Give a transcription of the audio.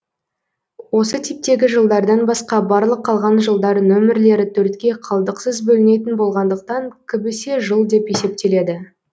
осы типтегі жылдардан басқа барлық қалған жылдар нөмірлері төртке қалдықсыз бөлінетін болғандықтан кібісе жыл деп есептеледі